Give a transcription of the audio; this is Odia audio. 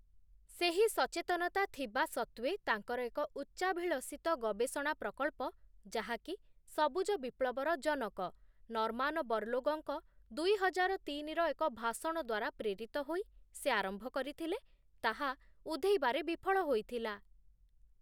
ସେହି ସଚେତନତା ଥିବା ସତ୍ତ୍ୱେ ତାଙ୍କର ଏକ ଉଚ୍ଚାଭିଳଷିତ ଗବେଷଣା ପ୍ରକଳ୍ପ, ଯାହାକି ସବୁଜ ବିପ୍ଳବର ଜନକ, ନର୍ମାନ ବର୍ଲୋଗଙ୍କ ଦୁଇହଜାର ତିନିର ଏକ ଭାଷଣ ଦ୍ଵାରା ପ୍ରେରିତ ହୋଇ, ସେ ଆରମ୍ଭ କରିଥିଲେ, ତାହା ଉଧେଇବାରେ ବିଫଳ ହୋଇଥିଲା ।